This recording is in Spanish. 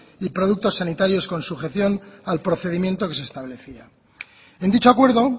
y productos sanitarios con sujeción al procedimiento que se establecía en dicho acuerdo